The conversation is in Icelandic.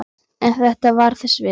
En þetta var þess virði.